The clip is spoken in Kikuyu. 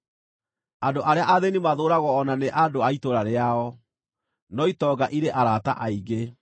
Andũ arĩa athĩĩni mathũũragwo o na nĩ andũ a itũũra rĩao, no itonga irĩ arata aingĩ.